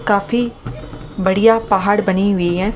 काफी बढ़िया पहाड़ बनी हुई है।